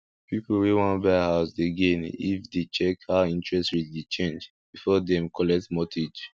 people wey wan buy house dey gain if dem dey check how interest rate dey change before dem collect mortgage